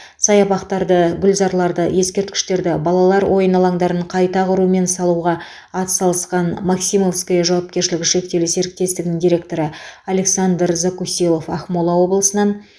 саябақтарды гүлзарларды ескерткіштерді балалар ойын алаңдарын қайта құру мен салуға атсалысқан максимовское жауапкершілігі шектеулі серіктестігінің директоры александр закусилов ақмола облысынан